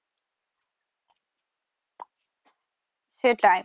সেটাই